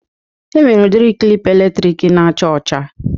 E nwere udiri klịp eletrik na-acha ọcha.